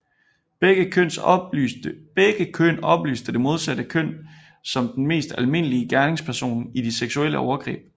Begge køn oplyste det modsatte køn som den mest almindelige gerningsperson i de seksuelle overgreb